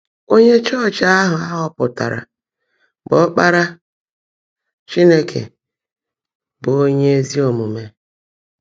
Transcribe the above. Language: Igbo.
Ónyé Ọchịchị áhụ á họọpụtárá, bụ́ Ọ́kpárá Chínekè, bụ́ ónyé ézí ómúmé.